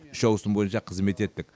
үш ауысым бойынша қызмет еттік